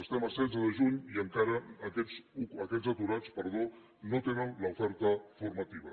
estem a setze de juny i encara aquests aturats no tenen l’oferta formativa